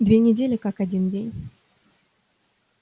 две недели как один день